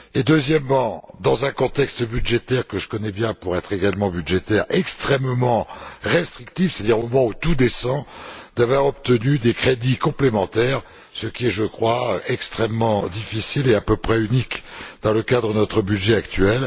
Deuxièmement, dans un contexte budgétaire que je connais bien pour être également budgétaire extrêmement restrictif, c'est à dire au moment où tout descend, pour avoir obtenu des crédits complémentaires, ce qui est je crois extrêmement difficile et à peu près unique dans le cadre de notre budget actuel.